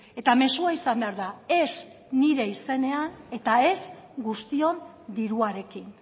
eta mezua izan behar da ez nire izenean eta ez guztion diruarekin